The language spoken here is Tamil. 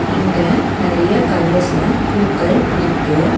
இங்க நெறைய கலர்ஸ்ல பூக்கள் இருக்கு.